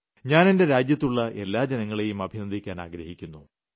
ഞാൻ എന്റെ രാജ്യത്തുളള എല്ലാ ജനങ്ങളെയും അഭിനന്ദിക്കാൻ ആഗ്രഹിക്കുന്നു